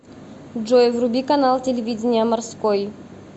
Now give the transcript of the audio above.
джой вруби канал телевидения морской